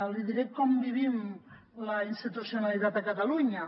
li diré com vivim la institucionalitat a catalunya